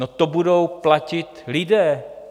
No, to budou platit lidé!